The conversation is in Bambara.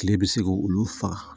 Kile bɛ se k'olu faga